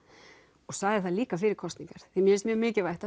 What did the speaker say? og sagði það líka fyrir kosningar því mér finnst mjög mikilvægt